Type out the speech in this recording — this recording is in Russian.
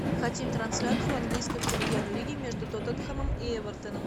хотим трансляцию английской премьер лиги между тоттенхэмом и эвертоном